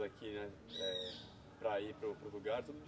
daqui né, eh para ir para o para o lugar, tudo